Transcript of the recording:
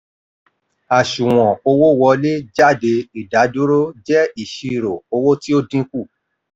àsùnwòn owó wọlé jáde ìdádúró jẹ́ ìṣirò owó tí ó dín kù.